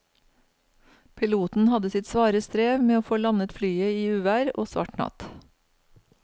Piloten hadde sitt svare strev med å få landet flyet i uvær og svart natt.